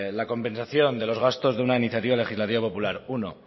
la compensación de los gastos de una iniciativa legislativa popular uno